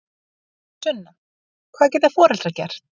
Sunna: Hvað geta foreldrar gert?